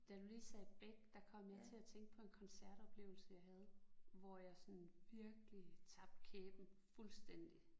Da du lige sagde Beck der kom jeg til at tænke på en koncertoplevelse jeg havde hvor jeg sådan virkelig tabte kæben fuldstændig